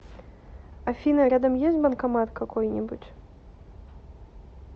афина рядом есть банкомат какой нибудь